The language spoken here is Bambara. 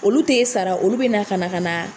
Olu te sara, olu be na ka na ka na